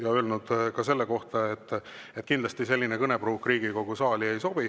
Olen öelnud ka seda, et kindlasti selline kõnepruuk Riigikogu saali ei sobi.